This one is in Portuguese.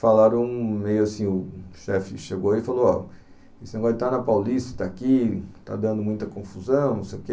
Falaram meio assim, o chefe chegou e falou, ó, esse negócio de estar na Paulista, estar aqui, está dando muita confusão, não sei o quê.